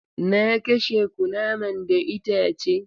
Na kashe kunaman da itace.